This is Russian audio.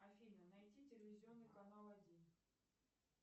афина найди телевизионный канал один